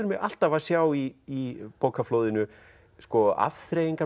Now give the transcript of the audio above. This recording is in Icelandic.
mig alltaf að sjá í bókaflóðinu